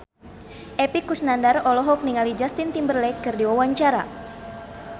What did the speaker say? Epy Kusnandar olohok ningali Justin Timberlake keur diwawancara